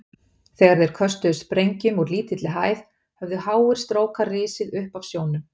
Þegar þeir köstuðu sprengjum úr lítilli hæð, höfðu háir strókar risið upp af sjónum.